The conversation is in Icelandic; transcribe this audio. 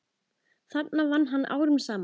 þarna vann hann árum saman.